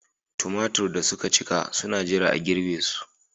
Tumatir da suka cika suna jira a girbe su.